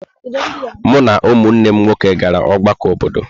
Mụ na ụmụnne m nwoke gara ọgbakọ obodo.